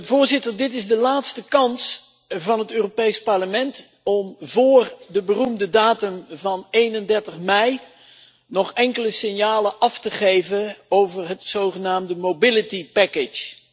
Voorzitter, dit is de laatste kans van het Europees Parlement om vóór de beroemde datum van 31 mei nog enkele signalen af te geven over het zogenaamde Mobility Package